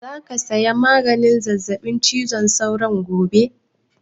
Za ka saya maganin zazzaɓin cizon sauron gobe?